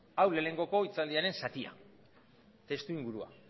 hau lehenengoko hitzaldiaren zatia testuingurua